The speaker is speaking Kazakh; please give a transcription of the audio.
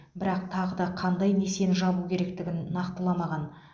бірақ тағы да қандай несиені жабу керектігін нақтыламаған